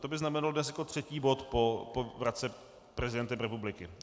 To by znamenalo dnes jako třetí bod po vratce prezidentem republiky.